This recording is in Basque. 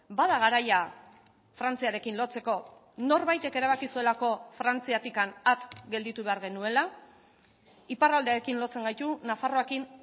bada garaia frantziarekin lotzeko norbaitek erabaki zuelako frantziatik at gelditu behar genuela iparraldearekin lotzen gaitu nafarroarekin